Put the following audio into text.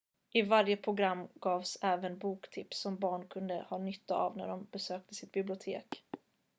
i varje program gavs även boktips som barnen kunde ha nytta av när de besökte sitt bibliotek